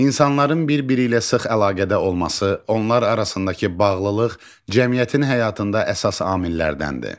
İnsanların bir-biri ilə sıx əlaqədə olması, onlar arasındakı bağlılıq cəmiyyətin həyatında əsas amillərdəndir.